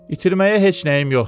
İtirməyə heç nəyim yoxdur.